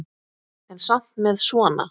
En samt með svona.